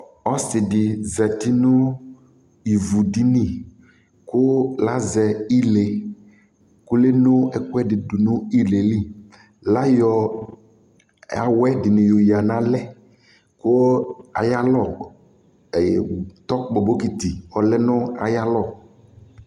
Ɔsɩ zati nʋ ivudini kʋ azɛ ile kʋ eno ɛkʋɛdɩ dʋ nʋ ile yɛ li Ayɔ awɛ dɩnɩ yɔyǝ nʋ alɛ kʋ ayalɔ e tɔkpɔ bɔkɩtɩ ɔlɛ nʋ ayalɔ